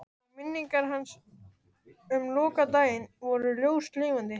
Og minningar hans um lokadaginn voru ljóslifandi.